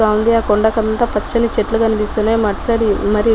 బావుంది ఆ కొంద కంతా పచ్చని చెట్లు కనిపిస్తా ఉన్నాయి .